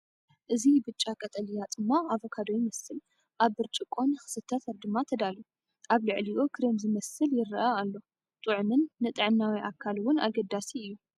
እዚ ብጫ-ቀጠልያ ጽማቝ ኣቮካዶ ይመስል፣ ኣብ ብርጭቆ ንኽስተ ድማ ተዳልዩ፣ ኣብ ልዕሊኡ ክሬም ዝመስል ይረአ ኣሎ እዩ። ጥዑምን ንጥዕናዊ ኣካል ውን ኣገዳሲ እዩ፡፡